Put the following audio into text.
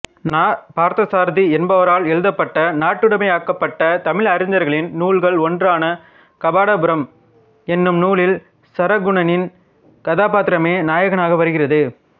நா பார்த்தசாரதி என்பவரால் எழுதப்பட்ட நாட்டுடைமையாக்கப்பட்ட தமிழறிஞர்களின் நூல்கள் ஒன்றான கபாடபுரம் என்னும் நூலில் சாரகுணனின் கதாப்பாத்திரமே நாயகனாக வருகிறது